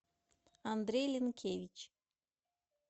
андрей линкевич